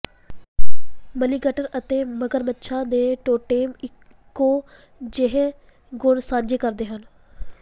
ਮਲੀਗਟਰ ਅਤੇ ਮਗਰਮੱਛਾਂ ਦੇ ਟੋਟੇਮ ਇੱਕੋ ਜਿਹੇ ਗੁਣ ਸਾਂਝੇ ਕਰਦੇ ਹਨ